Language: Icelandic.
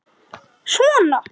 Sindri: Hvort?